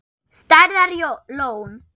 Stærðar lón.